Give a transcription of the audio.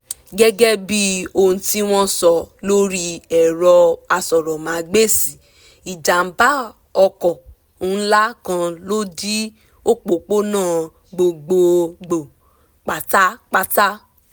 gẹ́gẹ́ bí ohun tí wọ́n sọ lórí ẹ̀rọ asọ̀rọ̀mágbèsì ìjàmbá ọkọ̀ ńlá kan ló dí òpópónà gbogbogbò pátápátá